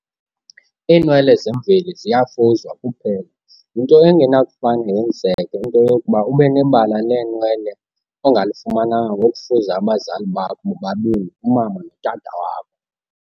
Iinwele zemveli ziyafuzwa kuphela. yinto engenakufane yenzeke into yokokuba ubenebala leenwele ongalifumananga ngokufuza abazali bakho bobabini umama notata wakho.